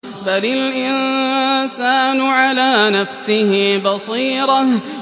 بَلِ الْإِنسَانُ عَلَىٰ نَفْسِهِ بَصِيرَةٌ